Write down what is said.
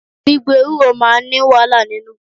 Gbígbo Ewúro máa ní wàhálà nínú.